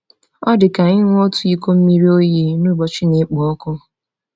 Ọ dị ka ịṅụ otu iko mmiri oyi n’ụbọchị na-ekpo ọkụ.